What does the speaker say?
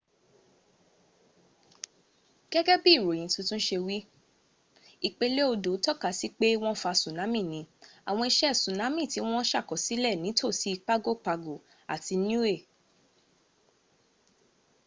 gẹ́gẹ́ bí ìròyìn tuntun ṣe wí ìpelé odò takasí pé wọ́n fa tsunami ni àwọn iṣe tsunami ti wọ́n ṣàkọsílẹ̀ ní tòsí pago pago àti niue